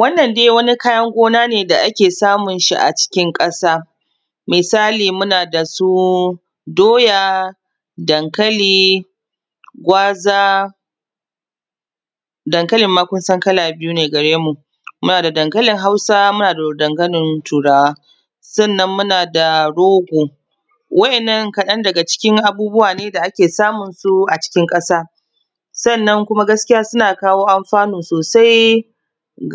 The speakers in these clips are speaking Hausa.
wannan dai wani kayan gona ne da ake samun shi a cikin ƙasa misali muna da su doya dankali gwaza dankalin ma kun san kala biyu ne gare mu mu na da dankalin hausa muna da dankalin turawa sannan muna da rogo waɗannan kaɗan daga cikin abubuwa ne da ake samun su a cikin ƙasa sannan kuma gaskiya suna kawo alfanu sosai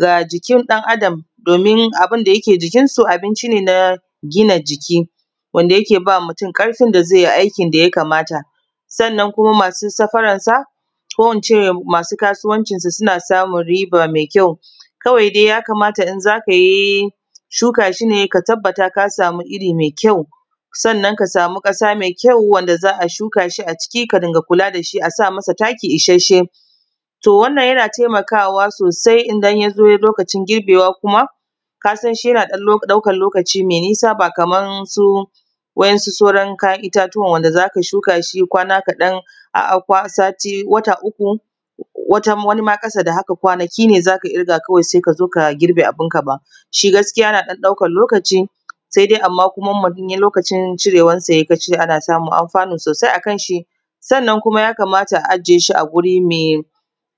ga jikin ɗan adam domin abunda yake jikin su abinci ne na gina jiki wanda yake bawa mutum ƙarfin da zai yi aikin da ya kamata sannan kuma masu safarar sa ko ince masu kasuwancin sa suna samun riba mai kyau kawai dai ya kamata in zaka yi shuka shine ka tabbata ka samu iri mai kyau sannan ka samu ƙasa mai kyau wanda za a shuka shi a ciki ka rinka kula dashi a sa masa taki isasshe to wannan yana taimakawa sosai idan yazo lokacin girbewa kuma kasan shi yana ɗan ɗaukan lokaci mai nisa ba kaman su waɗansu sauran kayan itatuwan da zaka shuka shi kwana kaɗan a sati wata uku wani ma ƙasa da haka kwanaki ne zaka ƙirga sai kazo ka girbe abunka ba shi gaskiya ya ɗaukan lokaci sai dai amman kuma mutum lokacin cirewar sa yayi shi ana samun alfanu sosai akan shi sannan kuma ya kamata a aje shi a guri mai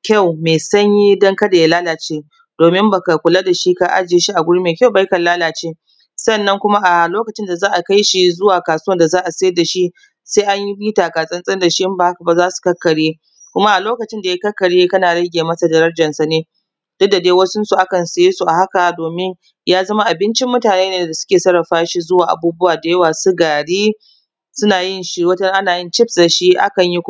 to mai sanyi don kada ya lalace domin baka kula dashi ka aje shi a guri mai kyau ba ya kan lalace sannan kuma a lokacin da za a kai shi kasuwan da za a saida shi sai anyi takatsantsan dashi in ba haka ba zasu kakkarye kuma a lokacin da ya kakkarye kana rage masa darajar sa ne tunda dai wasun su aka siye su ne a haka domin ya zama abincin mutane ne da suke sarrafa shi zuwa abubuwa da yawa su gari wataran ana chips da shi akan yi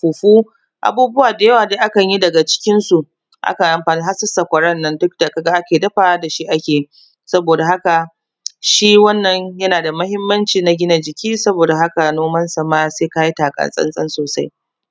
fufu abubuwa da yawa dai akan yi daga cikin su har su sakwarar nan duk da shi ake yi saboda haka shi wannan yana da muhimmanci na gina jiki saboda haka noman sa ma sai kayi takatsantsan sosai